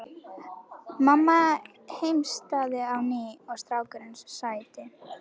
Mamma heimtaði að nýi strákurinn sæti.